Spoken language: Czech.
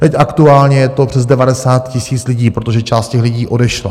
Teď aktuálně je to přes 90 000 lidí, protože část těch lidí odešla.